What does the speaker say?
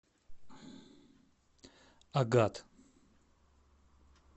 агат